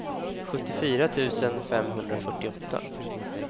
sjuttiofyra tusen femhundrafyrtioåtta